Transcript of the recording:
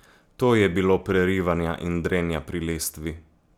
To je bilo prerivanja in drenja pri lestvi!